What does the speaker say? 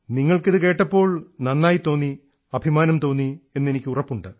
നിങ്ങൾക്കിതു കേട്ടപ്പോൾ നന്നായിതോന്നി അഭിമാനം തോന്നി എന്നു എനിക്കുറപ്പുണ്ട്